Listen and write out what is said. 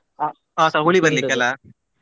ಆ ಸ್ವಲ್ಪ ಹುಳಿ ಬರ್ಲಿಕ್ಕೆ ಅಲ್ಲ.